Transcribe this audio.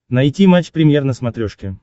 найти матч премьер на смотрешке